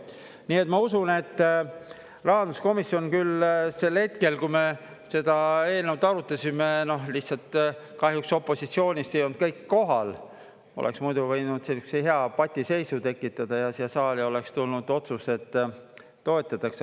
Nii et ma usun, et rahanduskomisjon küll sel hetkel, kui me seda eelnõu arutasime, lihtsalt kahjuks opositsioonist ei olnud kõik kohal, oleks muidu võinud sellise hea patiseisu tekitada ja siia saali oleks tulnud otsus, et toetatakse.